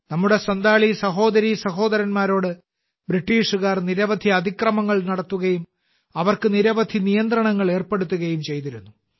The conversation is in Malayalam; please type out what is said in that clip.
നമ്മുടെ സൻഥാലി സഹോദരീസഹോദരന്മാരോട് ബ്രിട്ടീഷുകാർ നിരവധി അതിക്രമങ്ങൾ നടത്തുകയും അവർക്ക് നിരവധി നിയന്ത്രണങ്ങൾ ഏർപ്പെടുത്തുകയും ചെയ്തിരുന്നു